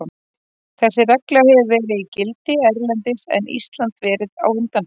Þessi regla hefur verið í gildi erlendis en Ísland verið á undanþágu.